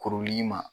Kuruli in ma